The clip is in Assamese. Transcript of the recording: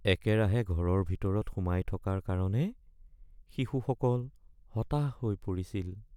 একেৰাহে ঘৰৰ ভিতৰত সোমাই থকাৰ কাৰণে শিশুসকল হতাশ হৈ পৰিছিল